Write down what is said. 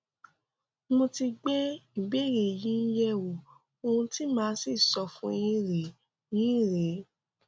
mo ti gbé ìbéèrè yín yẹwò ohun tí màá sì sọ fún yín rèé yín rèé